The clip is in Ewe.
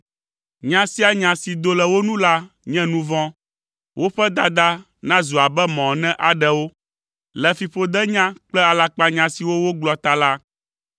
Nya sia nya si doa le wo nu la nye nu vɔ̃, woƒe dada nazu abe mɔ ene aɖe wo, Le fiƒodenya kple alakpanya siwo wogblɔ ta la,